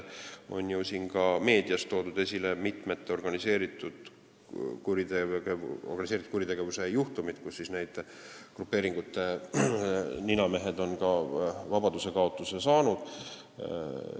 On ju ka meedias toodud esile mitmeid organiseeritud kuritegevuse juhtumeid, kui grupeeringute ninamehed on vabaduskaotusliku karistuse saanud.